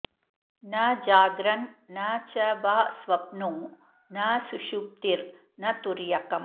न जाग्रन्न च वा स्वप्नो न सुषुप्तिर्न तुर्यकम्